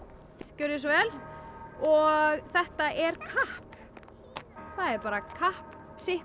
gjörið þið svo vel og þetta er kapp það er bara kapp